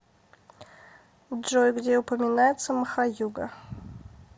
джой где упоминается махаюга